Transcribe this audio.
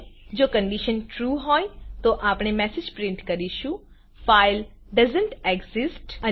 હોય જો કન્ડીશન trueટ્રૂહોય તો આપણે મેસેજ પ્રિન્ટ કરીશું ફાઇલ ડોએસન્ટ એક્સિસ્ટ